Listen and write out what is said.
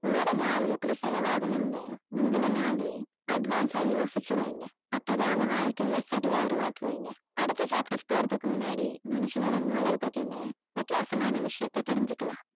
உங்களுடைய நாள் எப்படி செலவாகணும்னு முந்தின நாளே advance ஆ யோசிச்சு வைங்க அப்பதான் உங்க வாழ்க்கைய சரியா உருவாக்குவீங்க அடுத்த chapter போறதுக்கு முன்னாடி மனுஷனுடைய மூளைய பத்தின வித்தியாசமான விஷயத்தை தெரிஞ்சுக்கலாம்